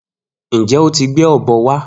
Njẹ o ti gbe ọ̀bọ wa?